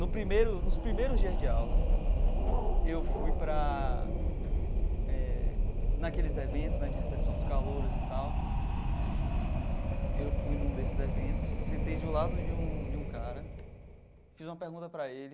No primeiro nos primeiros dias de aula, eu fui para eh... naqueles eventos né de recepção dos calouros e tal, eu fui num desses eventos, sentei do lado de um de um cara, fiz uma pergunta para ele,